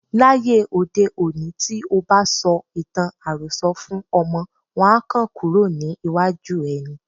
Láyé òde òní, tí o bá sọ ìtàn àròsọ fún ọmọ, wọn á kàn kúrò ní iwájú ẹ ni.